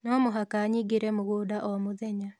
No mũhaka nyingĩre mũgũnda o mũthenya